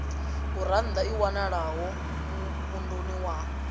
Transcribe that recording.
gurannḓa i wanalaho muvhunduni wa